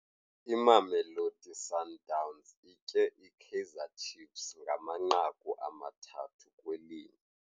Imamelodi Sundowns itye iKaizer Chiefs ngamanqaku amathathu kwelinye.